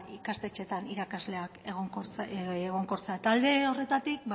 ikastetxeetan irakasleak egonkortzea alde horretatik